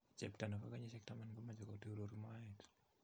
Chepto nepo kenyishek taman komenche koturuur moet